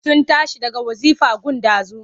Sun tashi daga wazifa gun ɗazu.